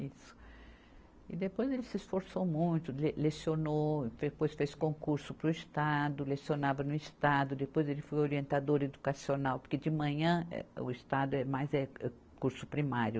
Isso. E depois ele se esforçou muito, le lecionou, depois fez concurso para o Estado, lecionava no Estado, depois ele foi orientador educacional, porque de manhã eh, o Estado é mais, eh curso primário.